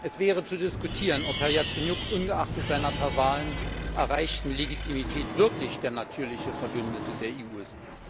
Es wäre zu diskutieren, ob Herr Jazenjuk ungeachtet seiner per Wahlen erreichten Legitimität wirklich der natürliche Verbündete der EU ist.